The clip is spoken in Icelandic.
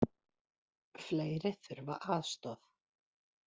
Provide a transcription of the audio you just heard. Fleiri þurfa aðstoð